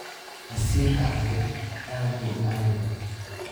Casiirka cambe aad buu u macaan yahay.